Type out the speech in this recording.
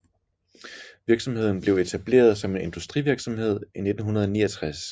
Virksomheden blev etableret som en industrivirksomhed i 1969